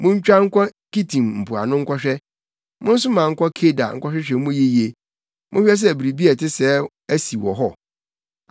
Muntwa nkɔ Kitim mpoano nkɔhwɛ, monsoma nkɔ Kedar nkɔhwehwɛ mu yiye; monhwɛ sɛ biribi a ɛte sɛɛ asi wɔ hɔ: